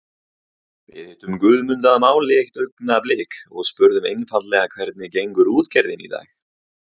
Við hittum Guðmund að máli eitt augnablik og spurðum einfaldlega hvernig gengur útgerðin í dag?